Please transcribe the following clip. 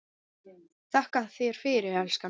Þakka þér fyrir, elskan.